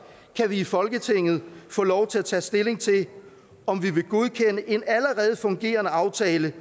i folketinget få lov til at tage stilling til om vi vil godkende en allerede fungerende aftale